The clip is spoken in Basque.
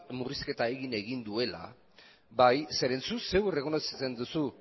murrizketak egin dituela bai zuk errekonozitzen duzu